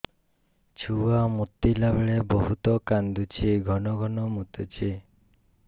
ଛୁଆ ମୁତିଲା ବେଳେ ବହୁତ କାନ୍ଦୁଛି ଘନ ଘନ ମୁତୁଛି